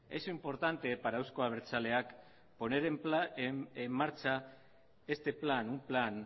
es importante para euzko abertzaleak poner en marcha este plan un plan